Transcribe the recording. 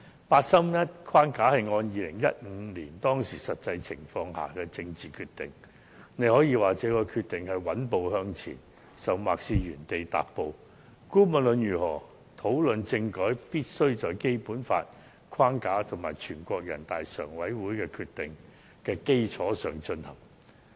八三一框架是按照2015年的實際情況作出的政治決定，大家可以說這個決定是穩步向前，甚或是原地踏步，但無論如何，討論政改時必須在《基本法》的框架和全國人民代表大會常務委員會的決定的基礎上進行。